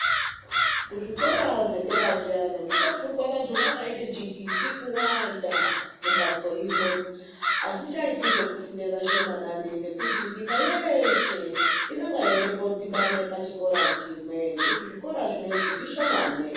Kuzvikora zvedera zviyani kunofundwa vantu vakaita jingindi kuwanda mumbatso imwe atichaiti zvekufunda mumbatso imwe ngekuti nyika yeshe inenge ichida kudhibana pachikora chimwe ngekuti zvikora zvinozvi zvishomani.